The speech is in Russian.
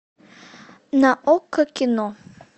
на окко кино